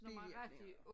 Bivirkningerne